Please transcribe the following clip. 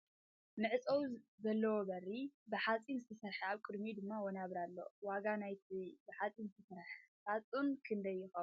መዕፀዊ ዘለዎ በሪ ብ ሓፂን ዝተሰረሕ ኣብ ቅድሚኡ ድማ ወናብር ኣለዉ ። ዋጋ ናይቲ ብ ሓፂን ዝተሰረሐ ሳፅን ክንደይ ይከውን ?